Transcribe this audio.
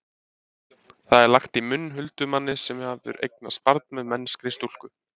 Það er lagt í munn huldumanni sem hefur eignast barn með mennskri stúlku.